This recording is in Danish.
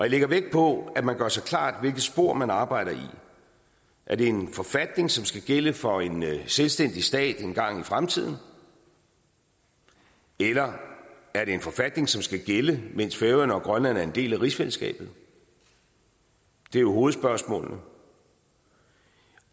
lægger vægt på at man gør sig klart hvilket spor man arbejder i er det en forfatning som skal gælde for en selvstændig stat engang i fremtiden eller er det en forfatning som skal gælde mens færøerne og grønland er en del af rigsfællesskabet det er jo hovedspørgsmålene